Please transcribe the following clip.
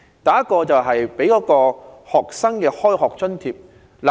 第一，為學生提供開學津貼。